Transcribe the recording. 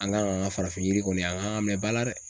An kan k'an ka farafin yiri kɔni an kan k'a minɛn ba la dɛ.